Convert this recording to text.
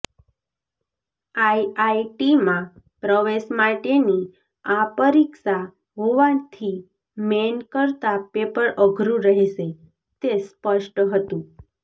આઇઆઇટીમાં પ્રવેશ માટેની આ પરીક્ષા હોવાથી મેઇન કરતાં પેપર અઘરું રહેશે તે સ્પષ્ટ હતું